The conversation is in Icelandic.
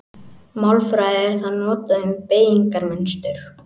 Í málfræði er það notað um beygingarmynstur.